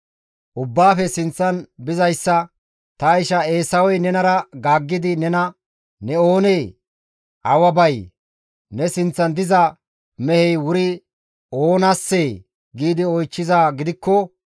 Ubbaafe sinththan bizayssa, «Ta isha Eesawey nenara gaaggidi nena, ‹Ne oonee? Awa bay? Ne sinththan diza mehey wuri oonassee?› gi oychchizaa gidikko,